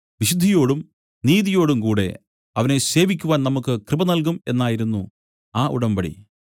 വിശുദ്ധിയോടും നീതിയോടും കൂടെ അവനെ സേവിക്കുവാൻ നമുക്കു കൃപ നൽകും എന്നായിരുന്നു ആ ഉടമ്പടി